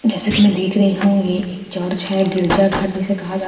जैसे की मैं देख रही हूँ ये एक चर्च हैं गिरिजा घर जिसे कहाँ जाता हैं यहाँ --